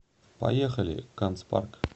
поехали канцпарк